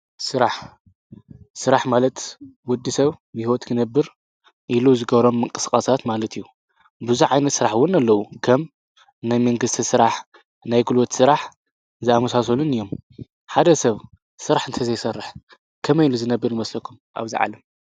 ስራሕ:- ስራሕ ማለት ወድ ሰብ ብህይወት ክነብር ኢሉ ዝገብሮም ምንቅስቃሳት ማለት እዩ። ብዙሕ ዓይነት ስራሕ እውን ኣለው ከም መንግስቲ ስራሕ ፣ናይ ጉልበት ስራሕ ዝኣመሳሰሉን እዮም ። ሓደ ሰብ ስራሕ እንተዘይሰርሕ ከመይ ኢሉ ዝነብር ይመስለኩም ኣብዛ ዓለም ?